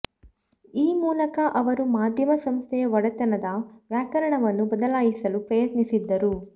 ಈ ಮೂಲಕ ಅವರು ಮಾಧ್ಯಮ ಸಂಸ್ಥೆಯ ಒಡೆತನದ ವ್ಯಾಕರಣವನ್ನೂ ಬದಲಾಯಿಸಲು ಪ್ರಯತ್ನಿಸಿದ್ದರು